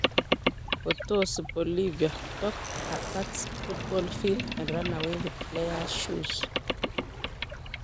Potosi Bolivia:Dog attacks football field and run away with player's shoe